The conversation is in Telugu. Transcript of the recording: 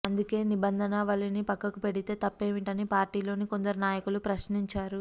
అందుకే నిబంధనావళిని పక్కకు పెడితే తప్పేమిటని పార్టీలోని కొందరు నాయకులు ప్రశ్నించారు